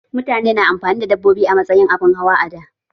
Mutane na amfani da dabbobi a matsayin abin hawa a da